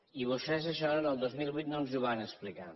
i vostès això el dos mil vuit no ens ho van explicar